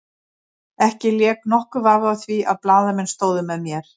Ekki lék nokkur vafi á því að blaðamenn stóðu með mér.